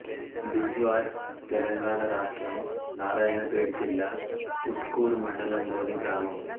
బిజ్వార్ తెలంగాణ రాష్ట్రం నారాయణపేట జిల్లా ఊట్కూరు మండలంలోని గ్రామం